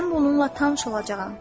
Mən bununla tanış olacağam.